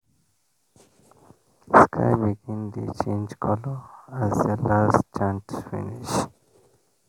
sky begin dey change colour as the last chant finish